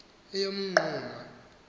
yeminquma